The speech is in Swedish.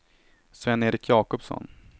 Sven-Erik Jakobsson